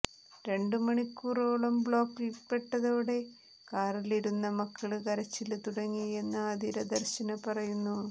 രണ്ട് മണിക്കൂറോളം ബ്ലോക്കില്പ്പെട്ടതോടെ കാറിലിരുന്ന മക്കള് കരച്ചില് തുടങ്ങിയെന്ന് ആതിര ദര്ശന് പറയുന്നു